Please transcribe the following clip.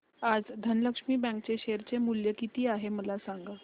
आज धनलक्ष्मी बँक चे शेअर चे मूल्य किती आहे मला सांगा